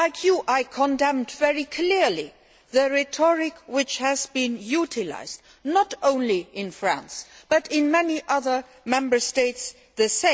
Like you, I condemned very clearly the rhetoric which has been utilised, not only in France, but in many other Member States too.